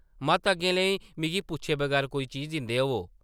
मत अग्गें लेई मिगी पुच्छे बगैर कोई चीज दिंदे होवो ।